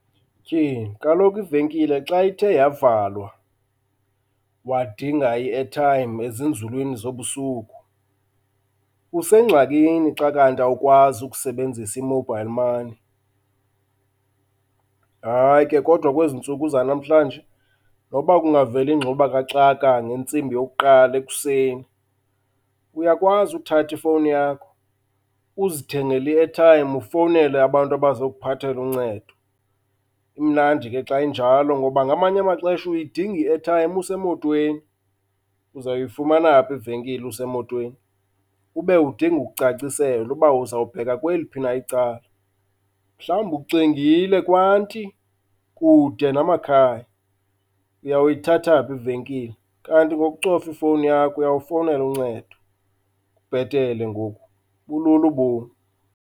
Tyhini kaloku ivenkile xa ithe yavalwa wadinga i-aritime ezinzulwini zobusuku usengxakini xa kanti awukwazi ukusebenzisa i-mobile money. Hayi ke kodwa kwezi ntsuku zanamhlanje nokuba kungavela ingxubakaxaka ngentsimbi yokuqala ekuseni, uyakwazi uthatha ifowuni yakho uzithengele i-airtime ufowunele abantu abazokuphathela uncedo. Imnandi ke xa injalo ngoba ngamanye amaxesha uyidinga i-airtime usemotweni. Uzawuyifumana phi ivenkile usemotweni? Ube udinga ukucaciselwa uba uzawubheka kweliphi na icala. Mhlawumbi uxingile kwanti kude namakhaya. Uyawuyithatha phi ivekile? Kanti ngokucofa ifowuni yakho uyawufowunela uncedo. Kubhetele ngoku, bulula ubomi.